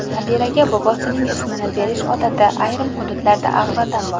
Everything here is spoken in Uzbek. Nabiraga bobosining ismini berish odati ayrim hududlarda avvaldan bor.